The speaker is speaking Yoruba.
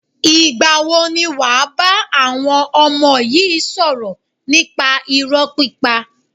Ìgbà wo ni wàá bá àwọn ọmọ yi sọ̀rọ̀ nípa irọ́ pípa?